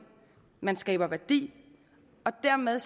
at man skaber værdi og dermed